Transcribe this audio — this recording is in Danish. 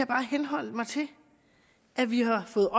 bare henholde mig til at vi har fået